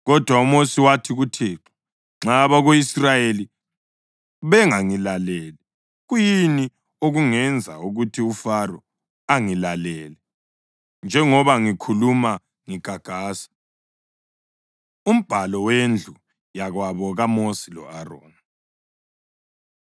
Kodwa uMosi wathi kuThixo, “Nxa abako-Israyeli bengangilaleli, kuyini okungenza ukuthi uFaro angilalele, njengoba ngikhuluma ngigagasa?” Umbhalo Wendlu Yakwabo KaMosi Lo-Aroni